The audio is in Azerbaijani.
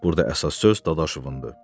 Burda əsas söz Dadaşovundur.